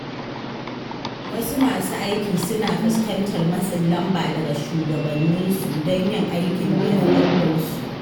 Wasu masu aiki suna fuskantar matsin lamba daga shugabanninsu don yin aikin da yafi ƙarfinsu.